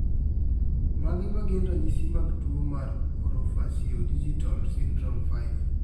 Mage magin ranyisi mag tuo mar Orofaciodigital syndrome 5?